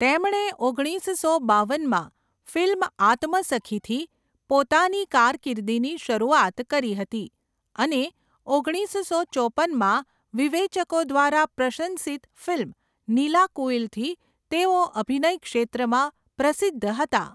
તેમણે ઓગણીસસો બાવનમાં ફિલ્મ 'આત્મસખી'થી પોતાની કારકિર્દીની શરૂઆત કરી હતી અને ઓગણીસસો ચોપનમાં વિવેચકો દ્વારા પ્રશંસિત ફિલ્મ 'નીલાકુઈલ'થી તેઓ અભિનય ક્ષેત્રમાં પ્રસિદ્ધ હતા.